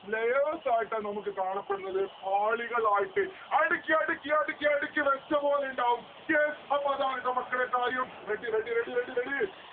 layers ആയിട്ടാണ് നമ്മുക്ക് കാണപ്പെടുന്നത്. പാളികളായിട്ട് അടിക്കി അടിക്കി അടിക്കി അടിക്കി വെച്ചപോലിണ്ടാവും yes അപ്പോ അതാണ് ട്ടോ മക്കളെ കാര്യം readybready ready ready